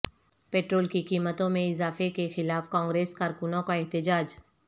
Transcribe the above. petrol کی قیمتوں میں اضافہ کیخلاف کانگریس کارکنوں کا احتجاج